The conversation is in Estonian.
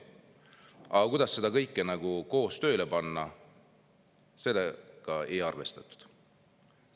Aga kuidas seda kõike koos tööle panna, sellega ei ole arvestatud.